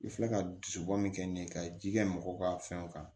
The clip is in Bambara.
I filɛ ka dusubɔ min kɛ ni ka ji kɛ mɔgɔw ka fɛnw kan